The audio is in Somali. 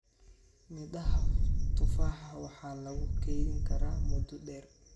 Midhaha tufaaxa waxaa lagu kaydin karaa muddo dheer.